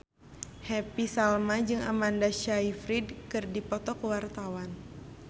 Happy Salma jeung Amanda Sayfried keur dipoto ku wartawan